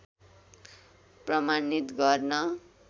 प्रमाणित गर्न